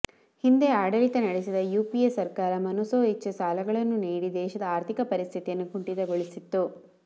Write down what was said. ಹಿಂದೆ ಆಡಳಿತ ನಡೆಸಿದ ಯುಪಿಎ ಸರ್ಕಾರ ಮನಸೋಇಚ್ಚೆ ಸಾಲಗಳನ್ನು ನೀಡಿ ದೇಶದ ಆರ್ಥಿಕ ಪರಿಸ್ಥಿತಿಯನ್ನು ಕುಂಟಿತಗೊಳಿಸಿತ್ತು